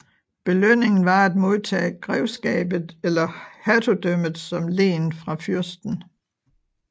Belønningen var at modtage grevskabet eller hertugdømmet som len fra fyrsten